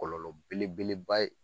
Kɔlɔlɔ belebeleba ye